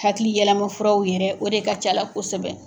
Hakili yɛlɛmafuraw yɛrɛ o de ka c'a la kosɛbɛ.